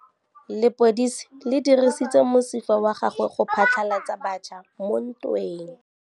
Lepodisa le dirisitse mosifa wa gagwe go phatlalatsa batšha mo ntweng.